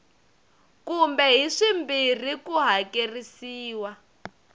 kumbe hi swimbirhi ku hakerisiwa